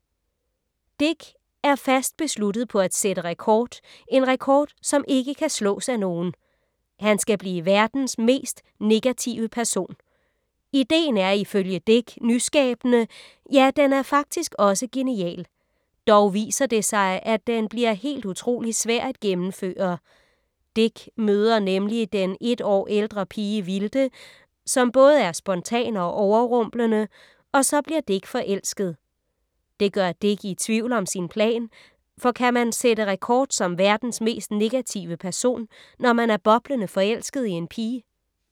Dick er fast besluttet på at sætte rekord, en rekord som ikke kan slås af nogen. Han skal blive verdens mest negative person. Ideen er, ifølge Dick, nyskabende, ja den er faktisk også genial. Dog viser det sig, at den bliver helt utrolig svær at gennemføre. Dick møder nemlig den et år ældre pige Vilde, som både er spontan og overrumplende, og så bliver Dick forelsket. Det gør Dick i tvivl om sin plan, for kan man sætte rekord som verdens mest negative person, når man er boblende forelsket i en pige?